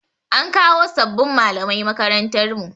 An kawo sabbin malamai makarantar mu.